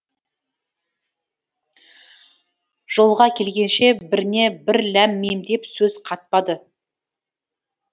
жолға келгенше біріне бірі ләм мим деп сөз қатпады